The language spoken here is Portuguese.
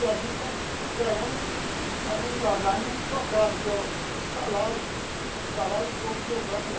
E a gente está ganhando assim também ganhando uns trocados, que é um salário um salário e pouco que eu ganho lá.